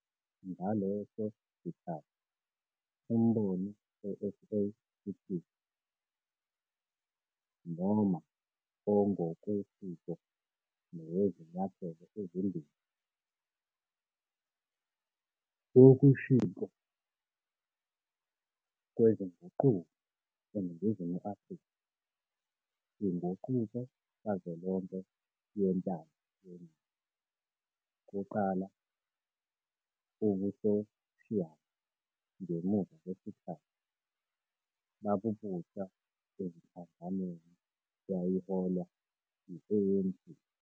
Ngaleso sikhathi umbono we-SACP noma ongokwesiko nowezinyathelo ezimbili wokushintshwa kwezinguquko eNingizimu Afrika - "inguquko kazwelonke yentando yeningi" kuqala, ubusoshiyali ngemuva kwesikhathi - babubusa enhlanganweni eyayiholwa yi-ANC.